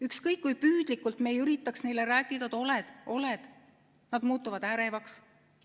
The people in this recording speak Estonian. Ükskõik kui püüdlikult me ei üritaks neile rääkida, et oled-oled, nad muutuvad ärevaks.